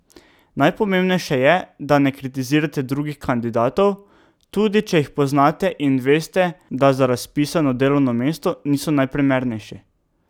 Najpomembnejše je, da ne kritizirate drugih kandidatov, tudi če jih poznate in veste, da za razpisano delovno mesto niso najprimernejši.